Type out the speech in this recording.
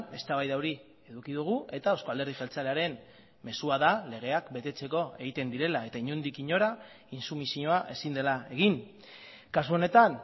eztabaida hori eduki dugu eta euzko alderdi jeltzalearen mezua da legeak betetzeko egiten direla eta inondik inora intsumisioa ezin dela egin kasu honetan